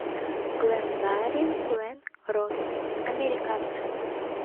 гленгарри глен росс американцы